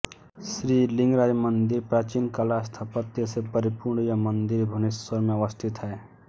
श्री लिंगराज मंदिर प्राचीन कला स्थापत्य से परिपूर्ण यह मंदिर भुवनेश्वर में अवस्थित है